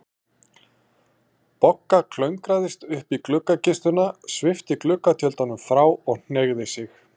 Bogga klöngraðist upp í gluggakistuna, svipti gluggatjöldunum frá og hneigði sig.